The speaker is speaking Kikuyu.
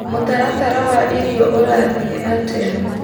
mũtaratara wa irio ũrathiĩ atĩa